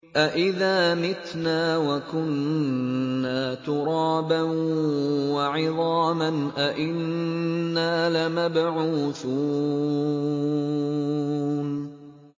أَإِذَا مِتْنَا وَكُنَّا تُرَابًا وَعِظَامًا أَإِنَّا لَمَبْعُوثُونَ